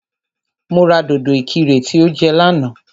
Mo ra dòdò ìkirè tí o jẹ lánàá